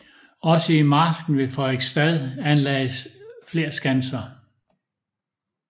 Også i marsken ved Frederiksstad anlagdes flere skanser